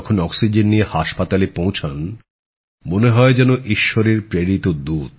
oxygen নিয়ে হাসপাতালে পৌঁছান মনে হয় যেন ঈশ্বরের প্রেরিত দুত